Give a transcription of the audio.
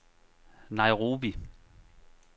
Nairobi